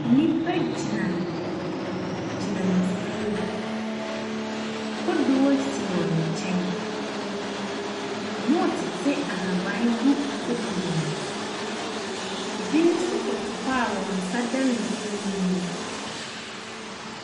Nnipa gyinagyina nsuo mu, kodoɔ si wɔn nkyɛn, wɔretete ahaban gu kodoɔ ne mu, bi nso koto hɔ a wɔn nsa da nsuo ne mu.